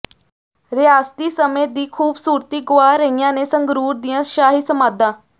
ਰਿਆਸਤੀ ਸਮੇਂ ਦੀ ਖੂਬਸੂਰਤੀ ਗੁਆ ਰਹੀਆਂ ਨੇ ਸੰਗਰੂਰ ਦੀਆਂ ਸ਼ਾਹੀ ਸਮਾਧਾਂ